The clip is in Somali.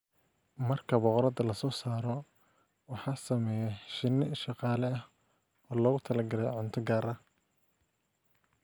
Marka boqoradda la soo saaro, waxaa sameeya shinni shaqaale ah oo loogu talagalay cunto gaar ah.